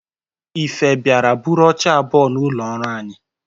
Ife biara buru oche abụọ n'ụlọ ọrụ anyi